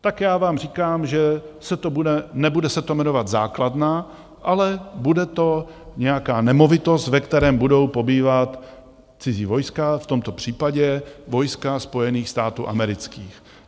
Tak já vám říkám, že se to nebude jmenovat základna, ale bude to nějaká nemovitost, ve které budou pobývat cizí vojska, v tomto případě vojska Spojených států amerických.